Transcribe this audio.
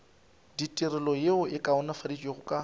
ditirelo yeo e kaonafaditšwego ka